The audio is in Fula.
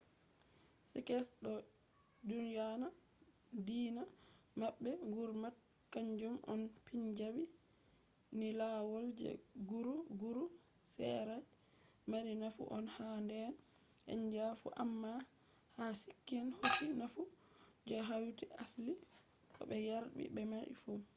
sikhs do dyona deena mabbe gurmat kanjum on punjabi ni lawol je guru”. guru sera je mari nafu on ha deena india fu amma ha sikhism hosi nafu je hauti asli ko be yardi be man fu